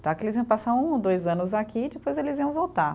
Tá. Que eles iam passar um ou dois anos aqui e depois eles iam voltar.